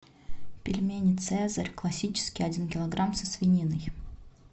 пельмени цезарь классические один килограмм со свининой